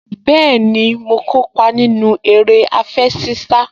Bẹ́ẹ̀ni, mo kópa nínú eré àfẹṣinsá